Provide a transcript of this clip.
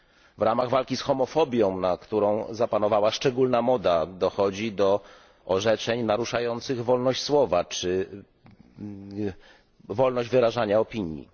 W ramach walki z homofobią, na którą zapanowała szczególna moda, dochodzi do orzeczeń naruszających wolność słowa czy wolność wyrażania opinii.